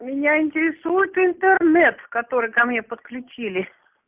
меня интересуют интернет в который ко мне подключили